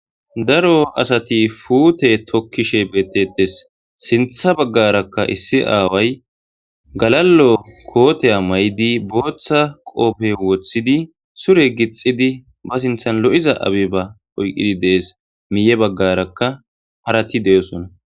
Daro asati puute tokkishe beettetes sintha baggarakka issi aaway galallo kooteya may7di booththa qoofe woththidi sure gixidi ba sinthan lo7iza abeba oyqidi dees miiye baggarakka harati de7osona